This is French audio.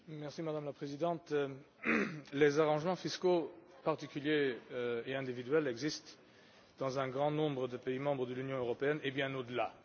Madame la Présidente, les arrangements fiscaux particuliers et individuels existent dans un grand nombre de pays de l'Union européenne et bien au delà.